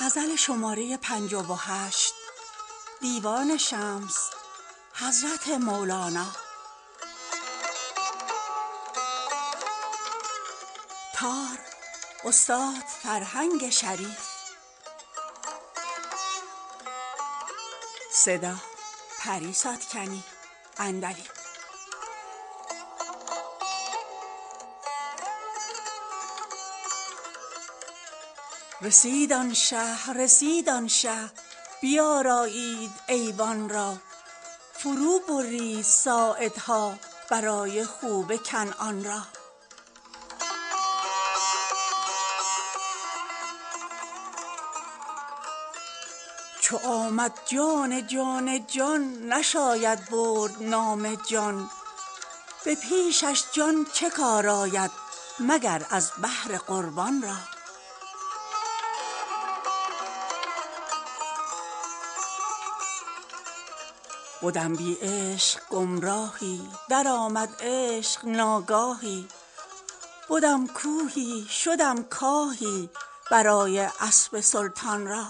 رسید آن شه رسید آن شه بیارایید ایوان را فروبرید ساعدها برای خوب کنعان را چو آمد جان جان جان نشاید برد نام جان به پیشش جان چه کار آید مگر از بهر قربان را بدم بی عشق گمراهی درآمد عشق ناگاهی بدم کوهی شدم کاهی برای اسب سلطان را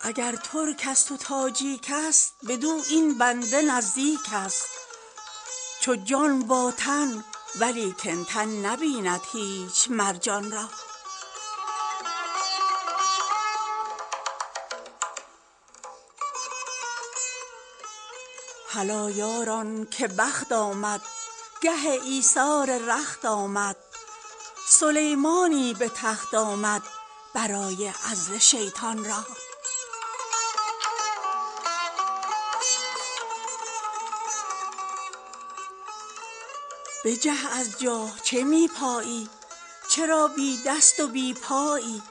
اگر ترکست و تاجیکست بدو این بنده نزدیکست چو جان با تن ولیکن تن نبیند هیچ مر جان را هلا یاران که بخت آمد گه ایثار رخت آمد سلیمانی به تخت آمد برای عزل شیطان را بجه از جا چه می پایی چرا بی دست و بی پایی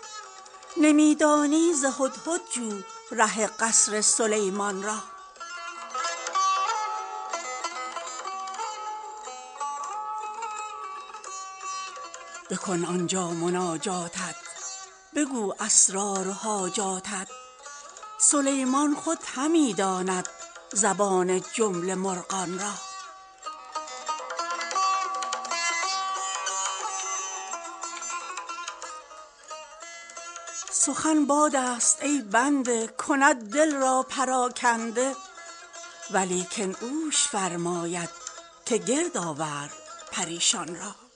نمی دانی ز هدهد جو ره قصر سلیمان را بکن آن جا مناجاتت بگو اسرار و حاجاتت سلیمان خود همی داند زبان جمله مرغان را سخن بادست ای بنده کند دل را پراکنده ولیکن اوش فرماید که گرد آور پریشان را